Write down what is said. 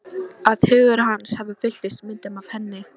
Að hugur hans fylltist myndum af henni.